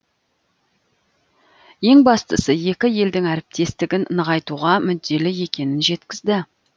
ең бастысы екі елдің әріптестігін нығайтуға мүдделі екенін жеткізді